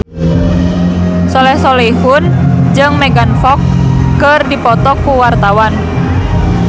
Soleh Solihun jeung Megan Fox keur dipoto ku wartawan